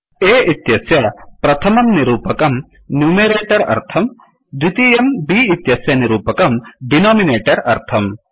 A इत्यस्य प्रथमं निरूपकं न्युमेरटर् अर्थम् द्वितीयं B इत्यस्य निरूपकं डिनोमिनटर् अर्थम्